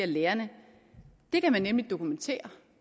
lærerne det kan man nemlig dokumentere